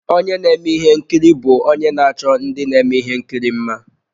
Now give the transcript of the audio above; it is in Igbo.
Onye na-eme ihe nkiri bụ onye na-achọ ndị na-eme ihe nkiri mma.